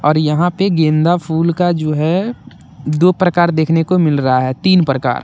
और यहां पे गेंदा फूल का जो है दो प्रकार देखने को मिल रहा है तीन प्रकार।